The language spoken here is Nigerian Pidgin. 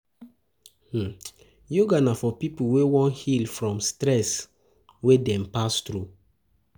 Yoga na for pipo wey won heal from stress wey dem pass through